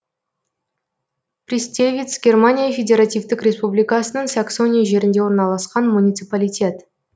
пристевиц германия федеративтік республикасының саксония жерінде орналасқан муниципалитет